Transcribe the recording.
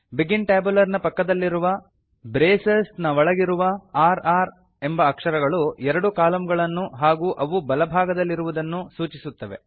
begin tabular ನ ಪಕ್ಕದಲ್ಲಿರುವ bracesನ ಒಳಗಿರುವ r r ಎಂಬ ಅಕ್ಷರಗಳು ಎರಡು ಕಾಲಂಗಳನ್ನು ಹಾಗೂ ಅವು ಬಲಭಾಗದಲ್ಲಿರುವುದನ್ನು ಸೂಚಿಸುತ್ತವೆ